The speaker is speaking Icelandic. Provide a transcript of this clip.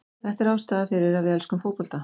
Þetta er ástæðan fyrir að við elskum fótbolta.